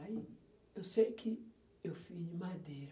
Aí, eu sei que eu fiz de madeira.